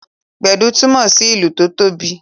Gbedu túmọ sí ìlù tó tóbi